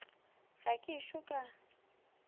ga ke ešo ka ba